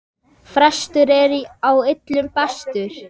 Frestur er á illu bestur!